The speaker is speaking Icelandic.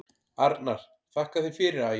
Arnar: Þakka þér fyrir Ægir.